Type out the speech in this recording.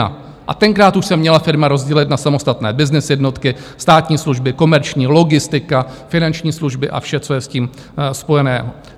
A tenkrát už se měla firma rozdělit na samostatné byznys jednotky, státní služby, komerční, logistika, finanční služby a vše, co je s tím spojené.